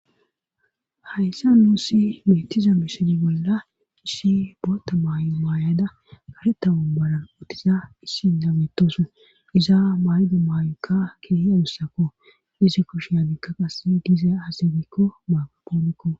Hayssa nuu si meetiza misoni bolla issi boota maay maayada gareta ommaran uttiza issi nametosu izaa maydu maayokka kiri adussako isi kosh hagikka qass gize azibikko maagapoonikko.